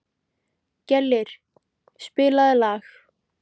Gellir, spilaðu lag.